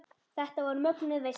Þetta var mögnuð veisla.